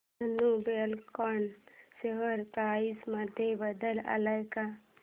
Dhenu Buildcon share price मध्ये बदल आलाय का